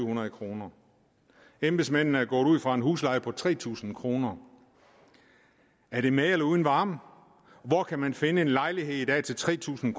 hundrede kroner embedsmændene er gået ud fra en husleje på tre tusind kroner er det med eller uden varme hvor kan man finde en lejlighed i dag til tre tusind